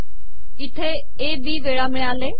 इथे A B वेळा िमळाले